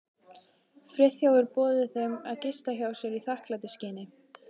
Friðþjófur boðið þeim að gista hjá sér í þakklætisskyni.